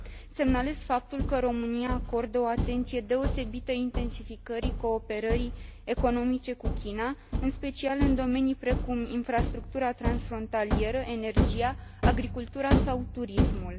Semnalez faptul că România acordă o atenție deosebită intensificării cooperării economice cu China, în special în domenii precum infrastructura transfrontalieră, energia, agricultura sau turismul.